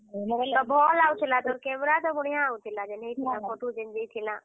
ଭଲ ଆସୁଥିଲା ତ camera ତ ବଢିଆଁ ଆସୁଥିଲା। ହେଇଥିଲା ଯେନ୍ ହେଇଥିଲାଁ Photo ଯେନ୍ ଯାଇଥିଲାଁ।